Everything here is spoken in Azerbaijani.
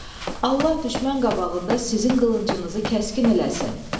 Allah düşmən qabağında sizin qılıncınızı kəskin eləsin.